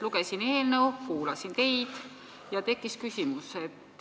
Lugesin eelnõu, kuulasin teid ja tekkis küsimus.